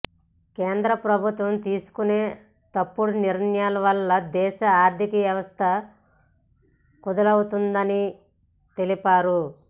కేంద్ర ప్రభుత్వం తీసుకునే తప్పుడు నిర్ణయాల వల్ల దేశ ఆర్దిక వ్యవస్ధ కుదేలవుతుందని తెలిపారు